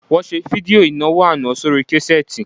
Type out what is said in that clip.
Wọ́n ṣe fídíò ìnáwó àná sórí késẹ́ẹ́tì